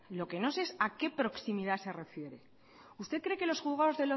lo que no sé es a qué proximidad se refiere usted cree que los juzgados